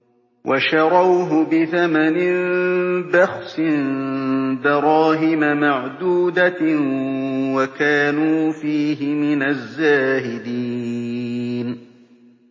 وَشَرَوْهُ بِثَمَنٍ بَخْسٍ دَرَاهِمَ مَعْدُودَةٍ وَكَانُوا فِيهِ مِنَ الزَّاهِدِينَ